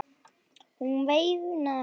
Hún veinaði af hlátri.